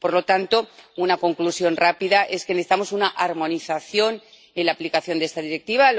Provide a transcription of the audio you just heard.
Por lo tanto, una conclusión rápida es que necesitamos una armonización en la aplicación de esta Directiva.